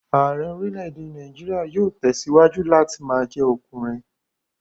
Ààrẹ́ orílè-èdè Nàìjíríà yóò tẹ̀síwájú láti ma jẹ́ ọkùnrin